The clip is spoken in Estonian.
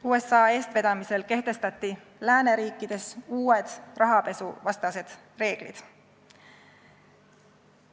USA eestvedamisel kehtestati lääneriikides uued rahapesuvastased reeglid.